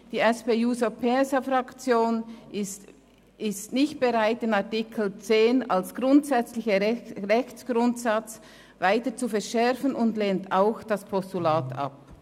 Die SP-JUSO-PSA-Fraktion ist nicht bereit, den Artikel 10 des Gesetzes über den Grossen Rat vom 4. Juni 2013 (GRG) als grundsätzlichen Rechtsgrundsatz weiter zu verschärfen, und lehnt auch das Postulat ab.